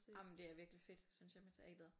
Ej men det er virkelig fedt synes jeg med teateret